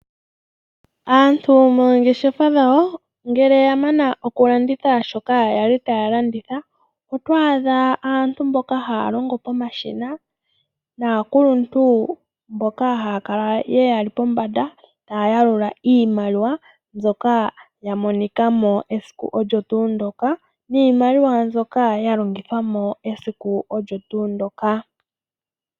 Aantu moongeshefa dhawo ngele yamana oku landitha shoka yali taya landitha otwaadha aantu mboka hay longo pomashina naakuluntu mboka haya kala yeli pombanda taya yalula iimaliwa mbyoka ya monika mo noyalongithwa esiku ndyoka.